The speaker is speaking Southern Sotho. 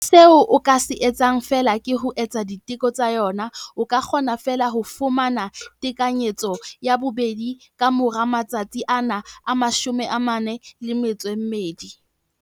Seo o ka se etsang feela ke ho etsa diteko tsa yona. O ka kgona feela ho fumana tekanyetso ya bobedi ka mora matsatsi ana a 42.